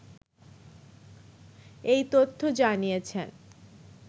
এই তথ্য জানিয়েছেন